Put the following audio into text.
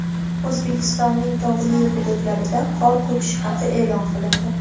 O‘zbekistonning tog‘li hududlarida qor ko‘chishi xavfi e’lon qilindi.